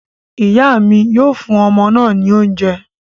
Ìyá mi yóò fún ọmọ náà ní oúnjẹ